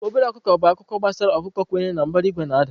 Obere ọkụkọ bụ akụkọ gbasara ọkụkọ kwenyere na mbara igwe na-ada.